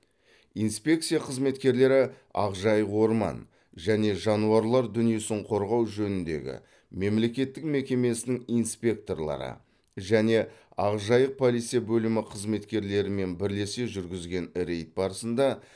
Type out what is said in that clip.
инспекция қызметкерлері ақжайық орман және жануарлар дүниесін қорғау жөніндегі мемлекеттік мекемесінің инспекторлары және ақжайық полиция бөлімі қызметкерлерімен бірлесе жүргізген рейд барысында